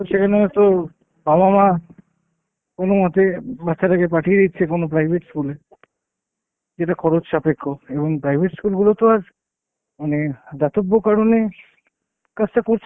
তো সেখানে তো বাবা মা কোনোমতে বাচ্চাটাকে পাঠিয়ে দিচ্ছে কোনো private school এ। যেটা খরচ সাপেক্ষ এবং private school গুলো তো আর মানে দাতব্য কারণে কাজটা করছে